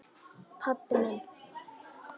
Pabbi minn?